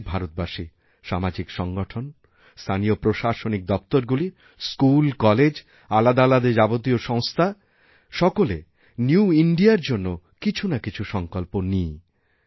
প্রত্যেক ভারতবাসী সামাজিক সংগঠন স্থানীয় প্রশাসনিক দপ্তরগুলি স্কুলকলেজআলাদা আলাদা যাবতীয় সংস্থা সকলে নিউইন্ডিয়া র জন্য কিছু নাকিছু সঙ্কল্প নিই